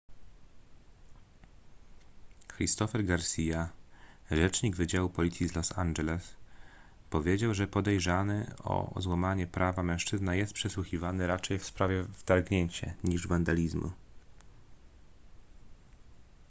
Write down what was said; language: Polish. christopher garcia rzecznik wydziału policji z los angeles powiedział że podejrzany o złamanie prawa mężczyzna jest przesłuchiwany raczej w sprawie wtargnięcia niż wandalizmu